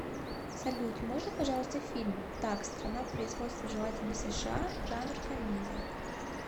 салют можно пожалуйста фильм так страна производства желательно сша жанр комедия